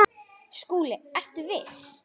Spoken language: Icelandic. SKÚLI: Ertu viss?